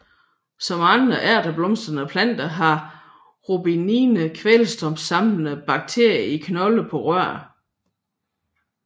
Som andre ærteblomstrede planter har Robinie kvælstofsamlende bakterier i knolde på rødderne